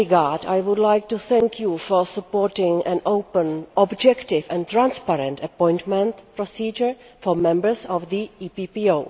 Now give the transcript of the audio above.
that regard, I would like to thank you for supporting an open, objective and transparent appointment procedure for members of the EPPO.